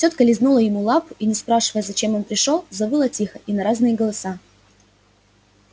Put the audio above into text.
тётка лизнула ему лапу и не спрашивая зачем он пришёл завыла тихо и на разные голоса